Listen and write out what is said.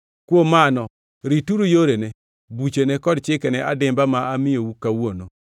Kuom mano rituru yorene, buchene kod chikene adimba ma amiyou kawuono.